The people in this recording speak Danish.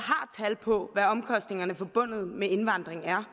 har tal på hvad omkostningerne forbundet med indvandringen er